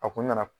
A kun nana